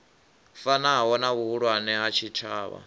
fanaho na vhuhulwane ha tshitshavha